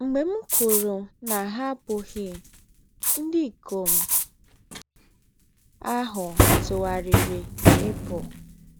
Mgbe m kwuru na ha abụghị, ndị ikom ahụ tụgharịrị ịpụ.